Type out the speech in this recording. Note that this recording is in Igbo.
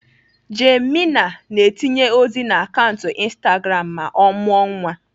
Jane Mena ga-etinye ozi na akaụntụ Instagram ma ọ mụọ nwa.